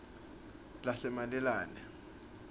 lasemalalane